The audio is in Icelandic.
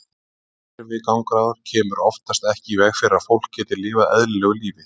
Gervigangráður kemur oftast ekki í veg fyrir að fólk geti lifað eðlilegu lífi.